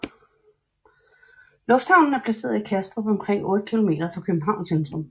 Lufthavnen er placeret i Kastrup omkring 8 km fra Københavns centrum